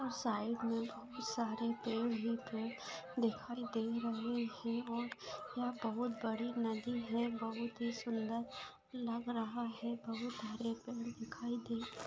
side मे बहुत सारे पेड़ हैं इधर दिखाई दे रहें हैं और यहां बहुत बड़ी नदी है बहुत ही सुंदर लग रहा है बहुत हरे पेड़ दिखाई दे---